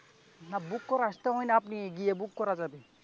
না বুক করে আসতে হয় না আপনি গিয়ে ভোগ করা যাবে ।